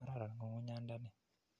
Kararan ng'ung'unyanda ni.